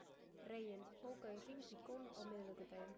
Reginn, bókaðu hring í golf á miðvikudaginn.